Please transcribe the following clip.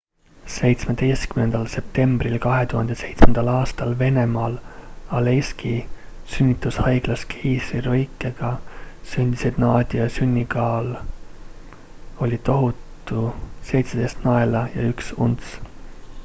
17 septembril 2007 aastal venemaal aleiski sünnitushaiglas keisrilõikega sündinud nadia sünnikaal oli tohutu 17 naela ja 1 unts